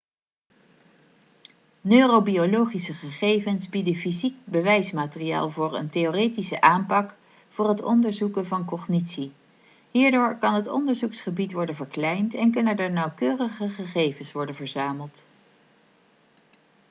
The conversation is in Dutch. neurobiologische gegevens bieden fysiek bewijsmateriaal voor een theoretische aanpak voor het onderzoeken van cognitie hierdoor kan het onderzoeksgebied worden verkleind en kunnen er nauwkeurigere gegevens worden verzameld